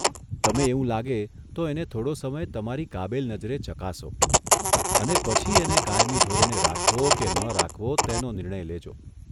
તમે એવું લાગે તો એને થોડો સમય તમારી કાબેલ નજરે ચકાસો અને પછી એને કાયમી ધોરણે રાખવો કે ન રાખવો તેનો નિર્ણય લેજો.